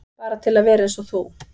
Bara til að vera eins og þú.